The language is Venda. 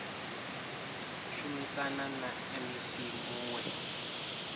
khou shumisana na mec muwe